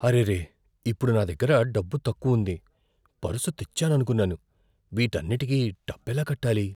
అరెరే! ఇప్పుడు నా దగ్గర డబ్బు తక్కువుంది, పర్సు తెచ్చాననుకున్నాను. వీటన్నింటికి డబ్బెలా కట్టాలి?